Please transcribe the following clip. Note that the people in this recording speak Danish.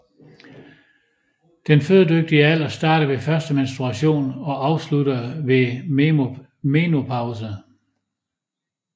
Den fødedygtige alder starter ved første menstruation og afslutter ved menopause